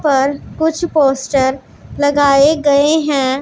पर कुछ पोस्टर लगाएं गएं हैं।